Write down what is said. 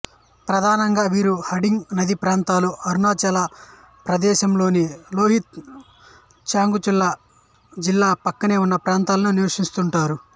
ప్రధానంగా వీరు డిహింగు నది ప్రాంతాలు అరుణాచల ప్రదేశు లోని లోహితు చాంగ్లాంగు జిల్లా ప్రక్కనే ఉన్న ప్రాంతాలలో నివసిస్తుంటారు